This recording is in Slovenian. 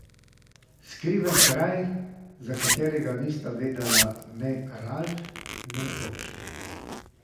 Skriven kraj, za katerega nista vedela ne Ralf ne oče.